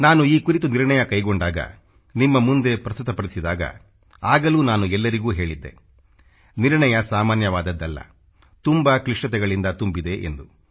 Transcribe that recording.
ನಾನು ಈ ಕುರಿತು ನಿರ್ಣಯ ಕೈಗೊಂಡಾಗ ನಿಮ್ಮ ಮುಂದೆ ಪ್ರಸ್ತುತಪಡಿಸಿದಾಗ ಆಗಲೂ ನಾನು ಎಲ್ಲರಿಗೆ ಹೇಳಿದ್ದೆ ನಿರ್ಣಯ ಸಾಮಾನ್ಯವಾದದ್ದಲ್ಲ ತುಂಬಾ ಕ್ಲಿಷ್ಟತೆಗಳಿಂದ ತುಂಬಿದೆ ಎಂದು